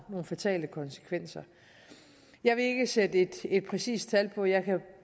fatale konsekvenser jeg vil ikke sætte et præcist tal på jeg kan